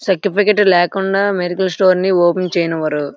Certificate లేకుండా medical store open చేయనివారు.